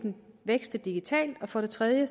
vækste digitalt og for det tredje